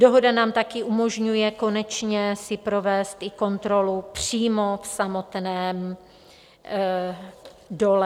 Dohoda nám taky umožňuje konečně si provést i kontrolu přímo v samotném dole.